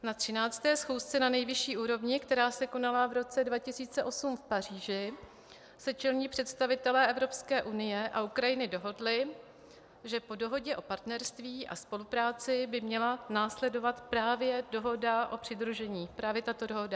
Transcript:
Na 13. schůzce na nejvyšší úrovni, která se konala v roce 2008 v Paříži, se čelní představitelé Evropské unie a Ukrajiny dohodly, že po dohodě o partnerství a spolupráci by měla následovat právě dohoda o přidružení - právě tato dohoda.